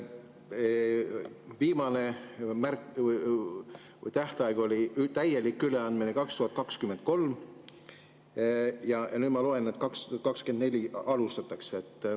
Viimane, täieliku üleandmise tähtaeg oli 2023. aastal ja nüüd ma loen, et 2024. aastal seda alustatakse.